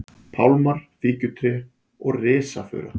pálmar, fíkjutré og risafura.